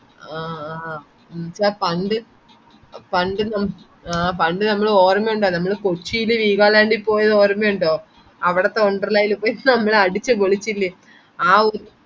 ആ ആ ഉം പണ്ട് പണ്ട് നമ്മ് ആ പണ്ട് നമ്മൾ ഓര്മിണ്ടോ നമ്മൾ കൊച്ചീൽ വീഗാലാൻഡിൽ പോയത് ഓര്മിണ്ടോ അവിടത്തെ വണ്ടർലണ്ടിൽ പോയി നമ്മളടിച്പൊളിച്ചില്ലേ